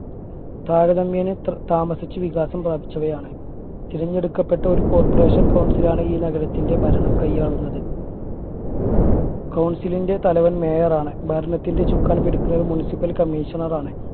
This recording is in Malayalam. താരതമ്യേന ഇത്ര താമസിച്ച് വികാസം പ്രാപിച്ചവയാണ് തിരഞ്ഞെടുക്കപ്പെട്ട ഒരു corporation council ണ് ഈ നഗരത്തിന്റെ ഭരണം കയ്യാളുന്നത് council ന്റെ തലവൻ mayor ണ് ഭരണത്തിന്റെ ചുക്കാൻ പിടിക്കുന്ന municipal commissioner ആണ്